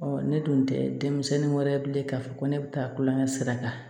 ne dun tɛ denmisɛnnin wɛrɛ bilen k'a fɔ ko ne bɛ taa kulonkɛ sira kan